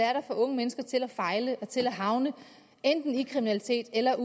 er der får unge mennesker til at fejle og til enten at havne i kriminalitet eller